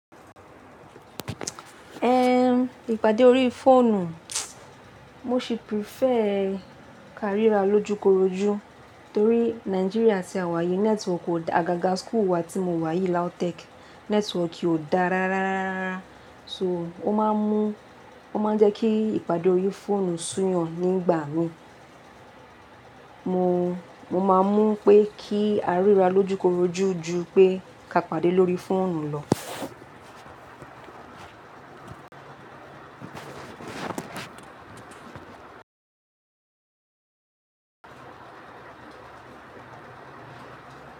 Ipàdé orí fóònù, mo ṣì prefer ká rírà lójúkorojú torí Nàìjíríà tí àwa yìí network ò dá, àgàgà school wà tí mo wà yìí LAUTECH network o dá rárá. So, ó máa ń jẹ́ kí ìpàdé orí fóònù sú yàn nígbà mi. Mo, máa mú pé kí a rírà lójúkorojú ju pé ká pàdé lórí fóònù lọ.